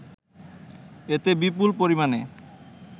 এতে বিপুল পরিমাণে